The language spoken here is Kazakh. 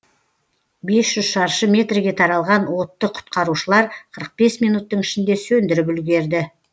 бес жүз шаршы метрге таралған отты құтқарушылар қырық бес минуттың ішінде сөндіріп үлгерді